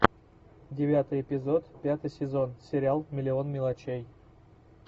девятый эпизод пятый сезон сериал миллион мелочей